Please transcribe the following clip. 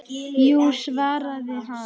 Jú svaraði hann.